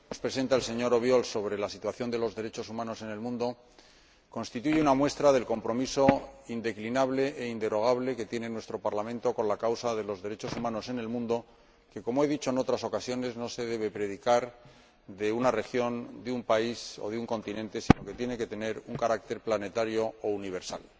Señora Presidenta, el informe que nos presenta el señor Obiols sobre la situación de los derechos humanos en el mundo constituye una muestra del compromiso indeclinable e inderogable que tiene nuestro Parlamento con la causa de los derechos humanos en el mundo como he dicho en otras ocasiones, esta causa no se debe predicar en relación con una región, un país o un continente, sino que tiene que tener un carácter planetario o universal.